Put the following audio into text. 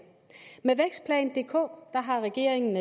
med vækstplan dk har regeringen